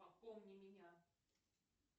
пополни меня